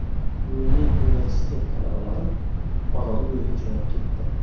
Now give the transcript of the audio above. Milliy universitet talabalari Orolbo‘yiga jo‘nab ketdi.